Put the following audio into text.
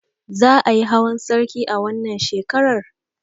Za ayi hawan sarki a wannan shekarar?